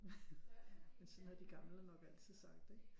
Men sådan har de gamle nok altid sagt ikke